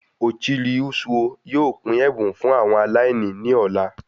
Ochiri Ozuo yóò pín ẹbùn fún àwọn aláìní ní ọ̀la